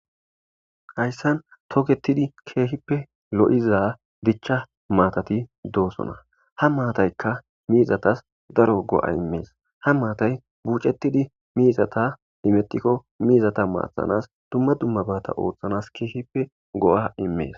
hayssan toketidi keehippe lo7iza dichcha maatati doosona ha maataykka miizatas daro go7a immees ha maatay buucettidi miizata imettikko miizata maathanas dumma dumma baata ooththanas keehippe go7a immees